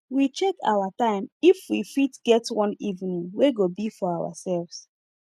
we check our time if we fit get one evening wey go be for ourselves